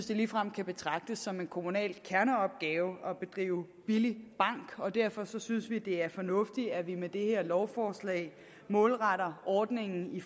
det ligefrem kan betragtes som en kommunal kerneopgave at drive billig bank og derfor synes vi det er fornuftigt at vi med det her lovforslag målretter ordningen i